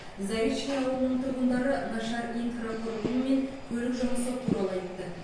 заречный ауылының тұрғындары нашар инфрақұрылым мен көлік жұмысы туралы айтты